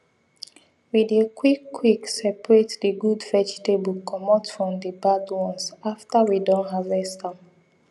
we dey quick quick separate the good vegetable comot from the bad ones after we don harvest am